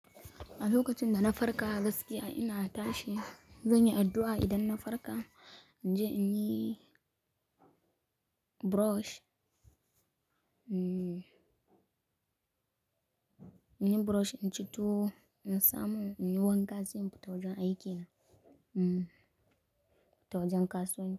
A lokacin da na farka, gaskiya ina tashi zan yi addu'a. Idan na farka, in je in yi brush, mm, in yi brush, in ci tuwo, in samu in yi wanka, sai infita wajan aiki, mm, in fita wajen kasuwanci.